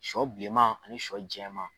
Sɔ bileman ani sɔ jɛma.